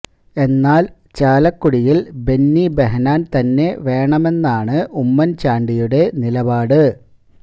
എന്നാല് ചാലക്കുടിയില് ബെന്നി ബെഹന്നാന് തന്നെ വേണമെന്നാണ് ഉമ്മന് ചാണ്ടിയുടെ നിലപാട്